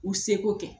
U seko kɛ